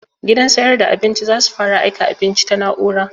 Gidan sayar da abinci za su fara aika abinci ta na'ura